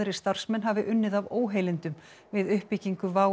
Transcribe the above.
starfsmenn hafi unnið af óheilindum við uppbyggingu WOW